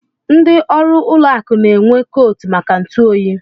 Ndị ọrụ ụlọ akụ n'enwe koot maka ntụ oyi.